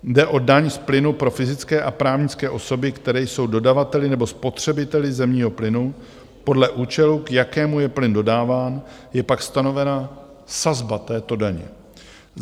Jde o daň z plynu pro fyzické a právnické osoby, které jsou dodavateli nebo spotřebiteli zemního plynu; podle účelu, k jakému je plyn dodáván, je pak stanovena sazba této daně.